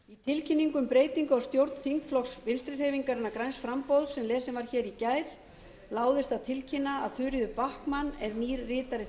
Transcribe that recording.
í tilkynningu um breytingu á stjórn þingflokks vinstri hreyfingarinnar græns framboðs sem lesin var í gær láðist að tilkynna að þuríður backman er nýr ritari